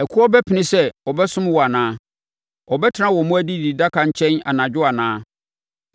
“Ɛkoɔ bɛpene sɛ ɔbɛsom wo anaa? Ɔbɛtena wo mmoa adididaka nkyɛn anadwo anaa?